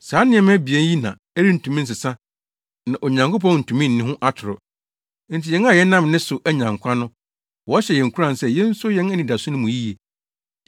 Saa nneɛma abien yi na ɛrentumi nsesa na Onyankopɔn ntumi nni ho atoro. Enti yɛn a yɛnam ne so anya nkwa no, wɔhyɛ yɛn nkuran sɛ yenso yɛn anidaso no mu yiye.